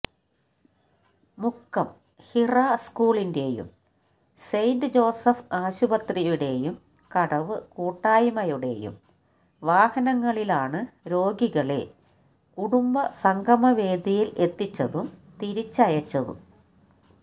മുക്കം ഹിറ സ്കൂളിന്റെയും Saint Joseph's ആശുപത്രിയുടെയും കടവ് കൂട്ടായ്മയുടെയും വാഹനങ്ങളിലാണ് രോഗികളെ കുടുംബസംഗമ വേദിയിൽ എത്തിച്ചതും തിരിച്ചയച്ചതും